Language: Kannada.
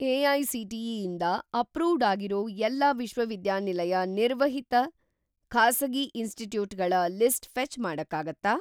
ಎ.ಐ.ಸಿ.ಟಿ.ಇ. ಇಂದ ಅಪ್ರೂವ್ಡ್‌ ಆಗಿರೋ ಎಲ್ಲಾ ವಿಶ್ವವಿದ್ಯಾನಿಲಯ ನಿರ್ವಹಿತ-ಖಾಸಗಿ ಇನ್‌ಸ್ಟಿಟ್ಯೂಟ್‌ಗಳ ಲಿಸ್ಟ್ ಫೆ಼ಚ್‌ ಮಾಡಕ್ಕಾಗತ್ತಾ?